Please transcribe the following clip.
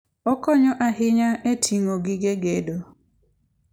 Okonyo ahinya e ting'o gige gedo.